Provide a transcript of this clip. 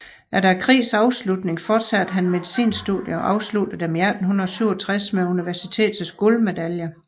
Efter krigens afslutning fortsatte han medicinstudierne og afsluttede dem i 1867 med universitetets guldmedalje